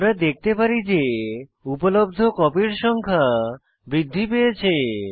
আমরা দেখতে পারি যে উপলব্ধ কপির সংখ্যা বৃদ্ধি পেয়েছে